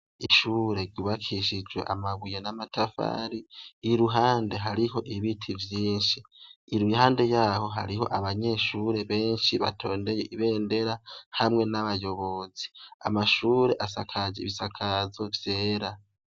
Ishure ryubakishijwe amabuye n'amatafari, iruhande ibiti vyinshi, iruhande yaho hariho abanyeshure benshi batondeye ibendera hamwe n'abayobozi, amashure asakajwe ibisakazo vyera.